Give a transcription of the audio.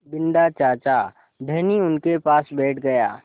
बिन्दा चाचा धनी उनके पास बैठ गया